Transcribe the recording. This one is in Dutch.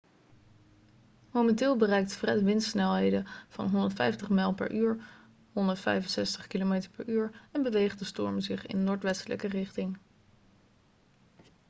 momenteel bereikt fred windsnelheden van 105 mijl per uur 165 km/u en beweegt de strom zich in noordwestelijke richting